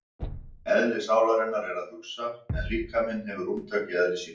Eðli sálarinnar er að hugsa en líkaminn hefur rúmtak í eðli sínu.